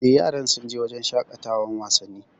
Eh, yaran sun je wurin shaƙatawan wasanni